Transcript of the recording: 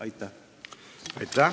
Aitäh!